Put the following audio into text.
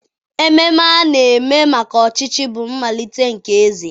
Ememe a na-eme maka ọchịchị bụ mmalite nke eze.